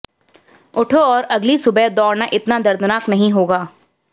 उठो और अगली सुबह दौड़ना इतना दर्दनाक नहीं होगा